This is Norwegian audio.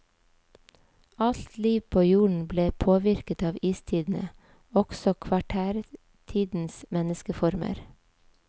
Alt liv på jorden ble påvirket av istidene, også kvartærtidens menneskeformer.